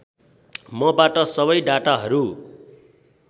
मबाट सबै डाटाहरू